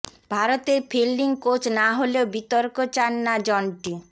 ভারতের fielding coach না হলেও বিতর্ক চান না জন্টি